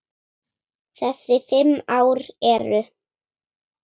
Þessi fimm ár eru